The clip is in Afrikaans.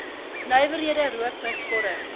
nywerhede rookmis vorm